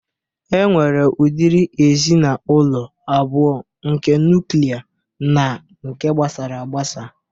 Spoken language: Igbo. E nwere ụdịrị ezinaụlọ abụo: nke nuklia na nke gbasaragbasa